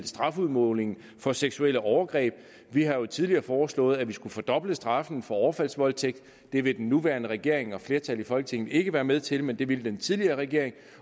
strafudmålingen for seksuelle overgreb vi har jo tidligere foreslået at vi skulle fordoble straffen for overfaldsvoldtægt det vil den nuværende regering og et flertal i folketinget ikke være med til men det ville den tidligere regering